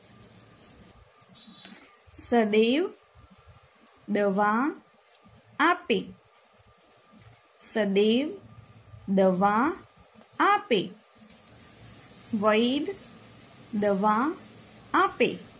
સદેવ દવા આપે સદેવ દવા આપે વૈધ દવા આપે